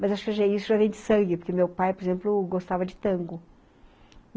Mas isso já vem de sangue, porque meu pai, por exemplo, gostava de tango.